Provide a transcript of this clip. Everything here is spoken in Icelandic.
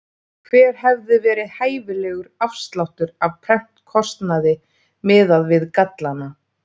Hver hefði verið hæfilegur afsláttur af prentkostnaði miðað við gallana?